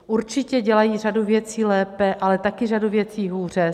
Určitě dělají řadu věcí lépe, ale také řadu věcí hůře.